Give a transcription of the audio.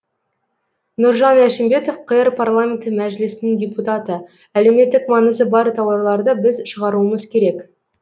нұржан әшімбетов қр парламенті мәжілісінің депутаты әлеуметтік маңызы бар тауарларды біз шығаруымыз керек